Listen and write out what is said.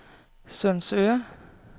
Sundsøre